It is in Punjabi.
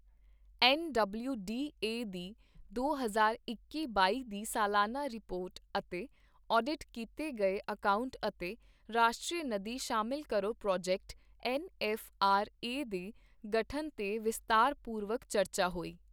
ਐੱਨ ਡਬਲਿਊ ਡੀ ਏ ਦੀ ਦੋ ਹਜ਼ਾਰ ਇੱਕੀ ਬਾਈ ਦੀ ਸਾਲਾਨਾ ਰਿਪੋਰਟ ਅਤੇ ਆਡਿਟ ਕੀਤੇ ਗਏ ਅਕਾਉਂਟ ਅਤੇ ਰਾਸ਼ਟਰੀ ਨਦੀ ਸ਼ਾਮਿਲ ਕਰੋ project N F R A ਦੇ ਗਠਨ ਤੇ ਵਿਸਤਾਰਪੂਰਵਕ ਚਰਚਾ ਹੋਈ।